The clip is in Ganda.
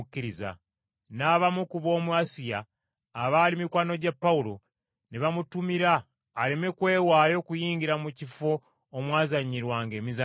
N’abamu ku b’omu Asiya, abaali mikwano gya Pawulo, ne bamutumira aleme kwewaayo kuyingira mu kifo omwazanyirwanga emizannyo.